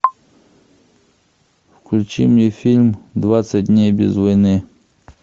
включи мне фильм двадцать дней без войны